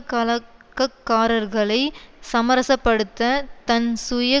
கலக்கக்காரர்களை சமரசப்படுத்த தன் சுய